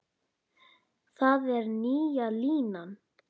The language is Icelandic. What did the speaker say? Það er nýja línan.